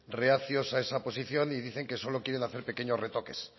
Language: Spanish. reacios a esa posición y dicen que solo quieren hacer pequeños retoques